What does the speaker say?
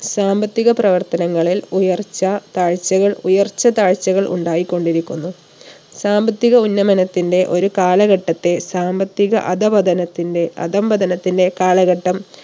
സാമ്പത്തിക പ്രവർത്തനങ്ങളിൽ ഉയർച്ച താഴ്ചകൾ ഉയർച്ച താഴ്ചകൾ ഉണ്ടായിക്കൊണ്ടിരിക്കുന്നു. സാമ്പത്തിക ഉന്നമനത്തിന്റെ ഒരു കാലഘട്ടത്തെ സാമ്പത്തിക അധഃപതനത്തിന്റെ അധംപതനത്തിന്റെ കാലഘട്ടം